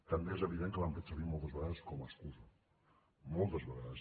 també és evident que l’han fet servir moltes vegades com a excusa moltes vegades